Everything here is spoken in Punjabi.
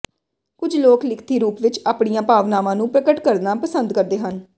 ਕੁਝ ਲੋਕ ਲਿਖਤੀ ਰੂਪ ਵਿਚ ਆਪਣੀਆਂ ਭਾਵਨਾਵਾਂ ਨੂੰ ਪ੍ਰਗਟ ਕਰਨਾ ਪਸੰਦ ਕਰਦੇ ਹਨ